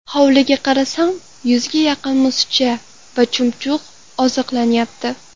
Hovliga qarasam, yuzga yaqin musicha va chumchuq oziqlanyapti.